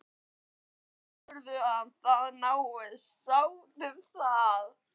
Heldurðu að það náist sátt um það?